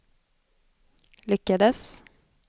lyckades